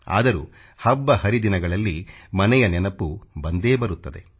ಆದರೂ ಹಬ್ಬ ಹರಿದಿನಗಳಲ್ಲಿ ಮನೆಯ ನೆನಪು ಬಂದೇ ಬರುತ್ತದೆ